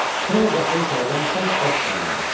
Sonra qapını içəridən bərk-bərk bağladıq.